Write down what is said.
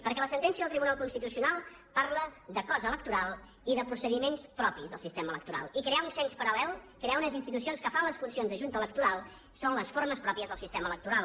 perquè la sentència del tribunal constitucional parla de cost electoral i de procediments propis del sistema electoral i crear un cens paral·lel crear unes institucions que fan les funcions de junta electoral són les formes pròpies del sistema electoral